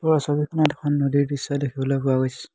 ওপৰৰ ছবিখনত এখন নদীৰ দৃশ্য দেখিবলৈ পোৱা গৈছে।